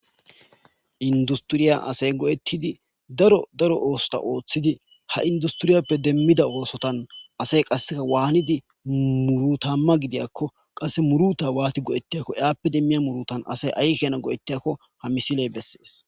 Inddustiriya asay go7ettidi daro daro oosota oothidi ha industiriyappe demmida oosotan asay qasseka waanidi murutaamma gidiyakko qasse muruuta waati go7ettiyakko iyappe demmiya murutan asay ay keena go7ettiyakko ha misiley bessees.